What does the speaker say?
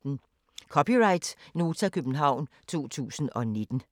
(c) Nota, København 2019